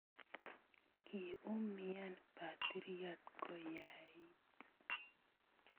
Kiumyaan batiryot koyaait